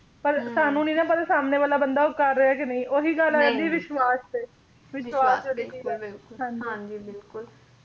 ਪਰ ਸਾਨੂੰ ਨਹੀਂ ਨਾ ਪਤਾ ਸਾਹਮਣੇ ਵਾਲਾ ਬੰਦਾ ਉਹ ਕਰ ਰਿਹਾ ਕੇ ਨਹੀਂ ਉਹੀ ਗੱਲ ਆ ਜਾਂਦੀ ਵਿਸ਼ਵਾਸ ਤੇ ਵਿਸ਼ਵਾਸ ਦੀ ਚੀਜ ਆ ਬਿਲਕੁਲ ਬਿਲਕੁਲ ਹਾਂਜੀ ਬਿਲਕੁਲ